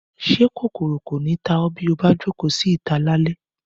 Ṣé kòkòrò kò ní ta ọ́ bí o bá jókòó sí ìta lálẹ́